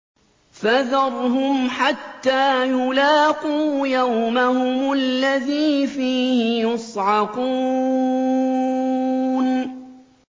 فَذَرْهُمْ حَتَّىٰ يُلَاقُوا يَوْمَهُمُ الَّذِي فِيهِ يُصْعَقُونَ